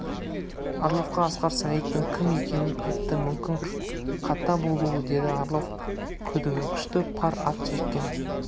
орловқа асқар сағиттің кім екенін айтты мүмкін қата болуы деді орлов күдігі күшті пар ат жеккен